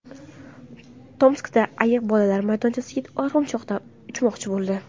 Tomskda ayiq bolalar maydonchasida arg‘imchoqda uchmoqchi bo‘ldi.